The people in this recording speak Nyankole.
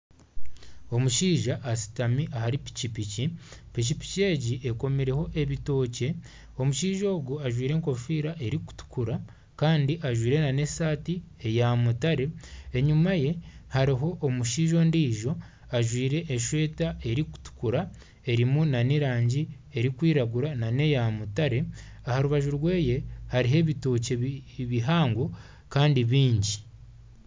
Omushaija ashutami ahari piki piki, piki piki egi ekomireho ebitookye omushaija ogu ajwaire enkofiira erikutukura kandi ajwaire n'esaati eya mutare, enyuma ye hariho omushaija ondijo ajwaire esweeta erikutukura erimu n'erangi erikwiragura n'eya mutaare aha rubaju rweye hariho ebitookye bihango kandi bingi.